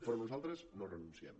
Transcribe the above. però nosaltres no hi renunciem